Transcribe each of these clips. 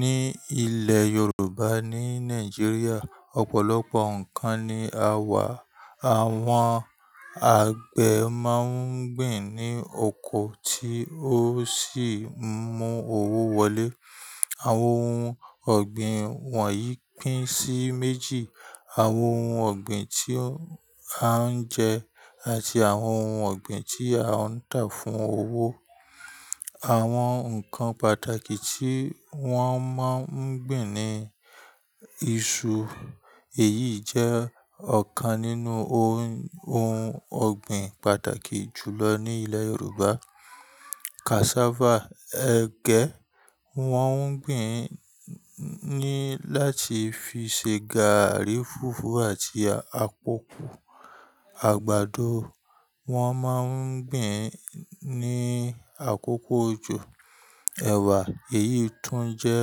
Ní ilẹ̀ Yorùbá ní Nàìjíríà, ọ̀pọ̀lọpọ̀ ǹkan ni a wà. Àwọn àgbẹ̀ máa ń gbìn ní oko tí ó sì mú owó wọlé. Àwọn ohun ọ̀gbìn wọ̀nyí pín sí méjì. Àwọn ohun ọ̀gbìn tí a ń jẹ àti àwọn ohun ọ̀gbìn tí a ń tà fún owó. Àwọn ǹkan pàtàkì tí wọ́n máa ń gbìn ni iṣu, èyí jẹ́ ọ̀kan nínú ohun ọ̀gbìn pàtàkì jù lọ ní ilẹ̀ Yorùbá. Cassava, ẹgẹ, wọ́n ń gbìn ní láti fi ṣe gààrí, fùfú àti akoko. Àgbàdo, wọn máa ń gbìn ní àkókò òjò. Èwà, èyí tún jẹ́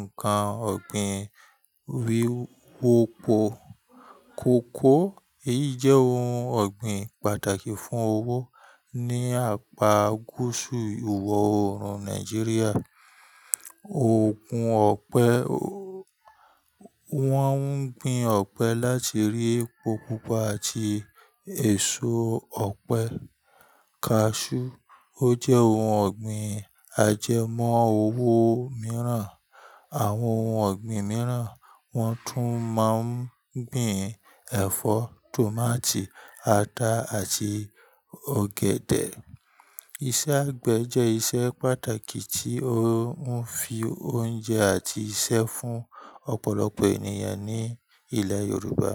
ǹkan ọ̀gbìn wíwo pọ̀. Kòkó, èyí jẹ́ ohun ọ̀gbìn pàtàkì fún owó ní apá gúúsù ìwọ̀-oòrùn Nàìjíríà. Oògùn ọ̀pẹ, wọ́n ń gbin ọ̀pẹ láti rí epo pupa àti èso ọ̀pẹ. Cashew, ó jẹ́ ohun ọ̀gbìn ajẹmọ́ owó mìíràn. Àwọn ohun ọ̀gbìn mìíràn wọ́n tún máa ń gbìn ẹ̀fọ́, tòmátì, ata àti ọ̀gẹ̀dẹ̀. Iṣẹ́ àgbẹ̀ jẹ́ iṣẹ́ pàtàkì tí ó ń fi oúnjẹ àti iṣẹ́ fún ọ̀pọ̀lọpọ̀ ènìyàn ní ilẹ̀ Yorùbá.